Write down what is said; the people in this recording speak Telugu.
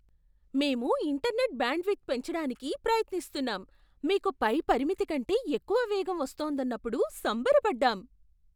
మేము ఇంటర్నెట్ బ్యాండ్విడ్త్ పెంచడానికి ప్రయత్నిస్తున్నాం, మీకు పై పరిమితి కంటే ఎక్కువ వేగం వస్తోందన్నప్పుడు సంబరపడ్డాం.